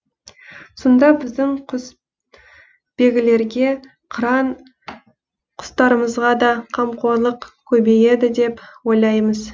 сонда біздің құсбегілерге қыран құстарымызға да қамқорлық көбейеді деп ойлаймыз